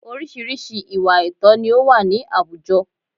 Orísìírísìí ìwà àìtọ̀ ni ó wà ní àwùjọ